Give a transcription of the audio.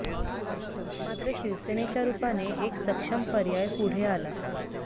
मात्र शिवसेनेच्या रुपाने एक सक्षम पर्याय पुढे आला